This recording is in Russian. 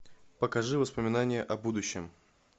покажи воспоминания о будущем